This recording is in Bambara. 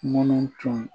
Minnu tun